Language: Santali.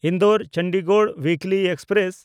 ᱤᱱᱫᱳ-ᱪᱚᱱᱰᱤᱜᱚᱲ ᱩᱭᱤᱠᱞᱤ ᱮᱠᱥᱯᱨᱮᱥ